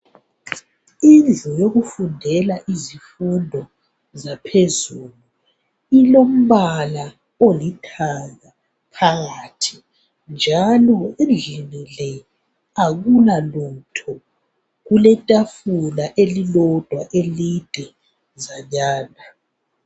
Indlu yokufundela izifundo zaphezulu ilombala olithanga phakathi njalo endlini le akulalutho. Kuletafula elilodwa elidezanyana.